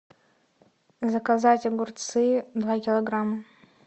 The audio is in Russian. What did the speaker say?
заказать огурцы два килограмма